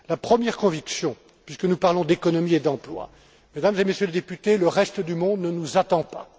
La première conviction, puisque nous parlons d'économie et d'emploi. Mesdames et Messieurs les députés, le reste du monde ne nous attend pas.